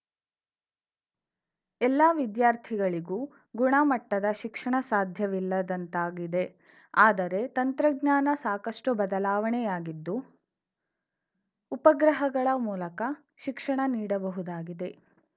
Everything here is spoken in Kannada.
ಎಲ್ಲ ವಿದ್ಯಾರ್ಥಿಗಳಿಗೂ ಗುಣ ಮಟ್ಟದ ಶಿಕ್ಷಣ ಸಾಧ್ಯವಿಲ್ಲದಂತಾಗಿದೆ ಆದರೆ ತಂತ್ರಜ್ಞಾನ ಸಾಕಷ್ಟುಬದಲಾವಣೆಯಾಗಿದ್ದು ಉಪಗ್ರಹಗಳ ಮೂಲಕ ಶಿಕ್ಷಣ ನೀಡಬಹುದಾಗಿದೆ